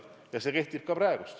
Ja see kehtib ka praegu.